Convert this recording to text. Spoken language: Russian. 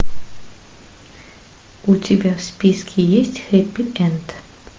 у тебя в списке есть хэппи энд